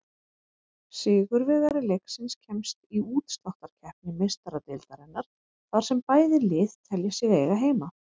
Sigurvegari leiksins kemst í útsláttarkeppni Meistaradeildarinnar, þar sem bæði lið telja sig eiga heima.